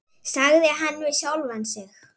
sagði hann við sjálfan sig.